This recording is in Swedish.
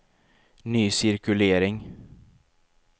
ny cirkulering